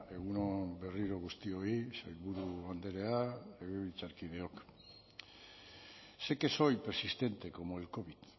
egun on berriro guztioi sailburu andrea legebiltzarkideok sé que soy persistente como el covid